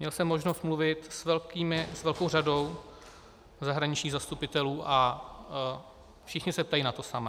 Měl jsem možnost mluvit s velkou řadou zahraničních zastupitelů a všichni se ptají na to samé.